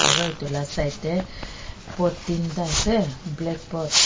aru itu la side tey pot tinta ase black pot .